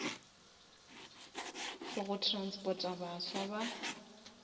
for go transporta baswa ba